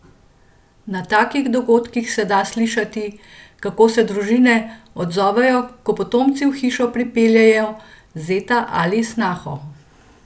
Na takih dogodkih se da slišati, kako se družine odzovejo, ko potomci v hišo pripeljejo zeta ali snaho.